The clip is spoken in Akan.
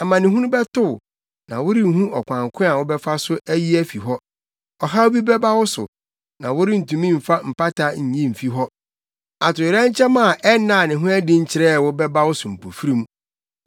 Amanehunu bɛto wo, na worenhu ɔkwan ko a wobɛfa so ayi afi hɔ. Ɔhaw bi bɛba wo so a worentumi mfa mpata nyi mfi hɔ; atoyerɛnkyɛm a ɛnnaa ne ho adi nkyerɛɛ wo bɛba wo so mpofirim.